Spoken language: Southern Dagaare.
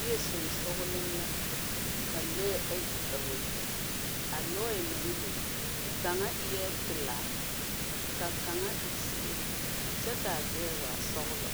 Yie sensɔgelee la ka lɔɛ ayi a wa le. A lɔɛ naŋ le, kaŋa eɛɛ pelaa, ka kaŋa e zeɛ. Kyɛ kaa gbɛɛ waa sɔgelɔ.